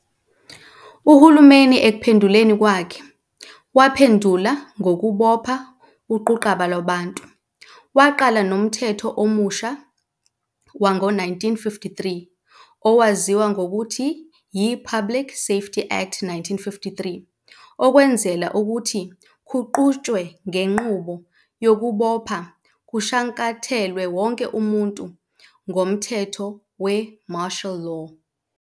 uhulumeni ekuphenduleni kwakhe, waphendula ngokubopha uquqaba lwabantu, waqala nomthetho omusha wangu 1953, owaziwa ngokuthi yi-Public Safety Act, 1953 ukwenzela ukuthi kuqhutshwe ngenqubo yokubopha kushankathelwe wonke umuntu, ngomtheteho we-martial law.